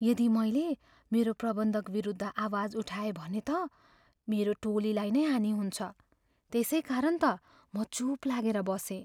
यदि मैले मेरो प्रबन्धकविरुद्ध आवाज उठाएँ भने त मेरो टोलीलाई नै हानि हुन्छ। त्यसै कारण त म चुप लागेर बसेँ।